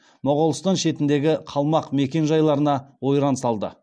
моғолстан шетіндегі қалмақ мекен жайларына ойран салды